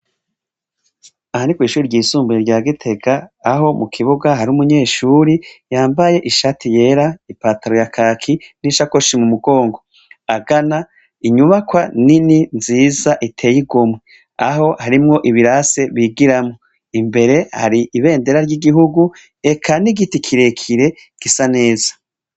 Aha ni kw'ishuri ryisumbuye rya Gitega, aho mukibuga hari umunyeshuri yambaye ishati yera , ipantaro ya kaki n'ishakoshi mumugongo, agana inyubako nini nziza iteye igomwe, aho harimwo ibirase bigiramwo. Imbere hari ibendera ry'igihugu eka n'igiti kirekire gisa neza.